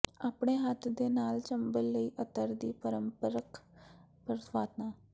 ਆਪਣੇ ਹੱਥ ਦੇ ਨਾਲ ਚੰਬਲ ਲਈ ਅਤਰ ਦੀ ਪਾਰੰਪਰਕ ਪਕਵਾਨਾ